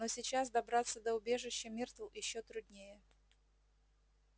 но сейчас добраться до убежища миртл ещё труднее